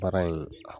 Baara in